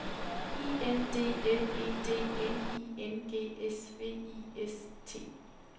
I N D L E D N I N G S V I S T